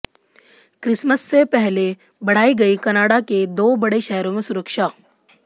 Christmas से पहले बढ़ाई गई कनाडा के दो बड़े शहरों में सुरक्षा